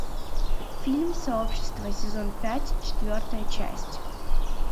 фильм сообщество сезон пять четвертая часть